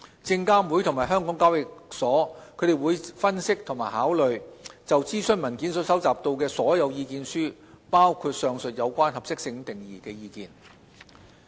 證監會及港交所將會分析及考慮就諮詢文件所收集到的所有意見書，包括上述有關合適性定義的意見。